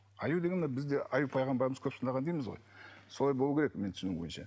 аю деген мына бізде аюб пайғамбарымыз көп сынаған дейміз ғой солай болу керек менің түсінігім бойынша